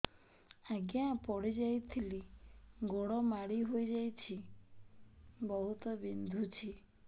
ଆଜ୍ଞା ପଡିଯାଇଥିଲି ଗୋଡ଼ ମୋଡ଼ି ହାଇଯାଇଛି ବହୁତ ବିନ୍ଧୁଛି